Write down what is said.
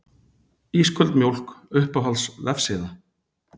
Ísköld mjólk Uppáhalds vefsíða?